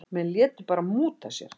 Menn létu bara múta sér.